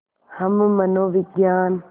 हम मनोविज्ञान